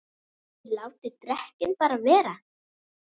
ÞIÐ LÁTIÐ DEKKIN BARA VERA!